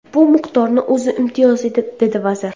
Bu miqdorning o‘zi imtiyozli”, dedi vazir.